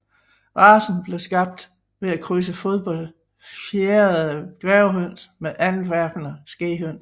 Racen blev skabt ved at krydse fodbefjerede dværghøns med Antwerpener Skæghøns